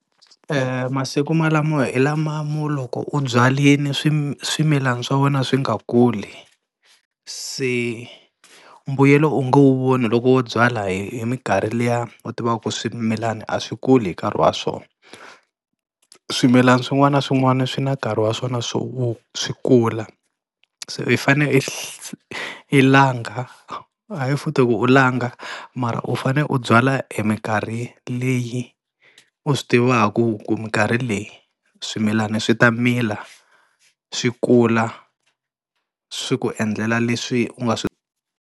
E masiku malamo hi lama mo loko u byarile swimilana swa wena swi nga kuli, se mbuyelo u nge wu voni loko wo byala hi minkarhi liya u tivaku swimilani a swi kula hi nkarhi wa swona. Swimilana swin'wana na swin'wana swi na nkarhi wa swona swo swi kula se i fane i i langha, hayi futhi ku u langa mara u fane u byala hi minkarhi leyi u swi tivaku ku minkarhi leyi swimilana swi ta mila swi kula swi ku endlela leswi u nga swi.